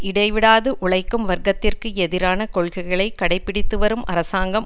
இடைவிடாது உழைக்கும் வர்க்கத்திற்கு எதிரான கொள்கைகளை கடைபிடித்துவரும் அரசாங்கம்